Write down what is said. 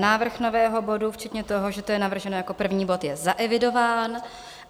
Návrh nového bodu včetně toho, že to je navrženo jako první bod, je zaevidován.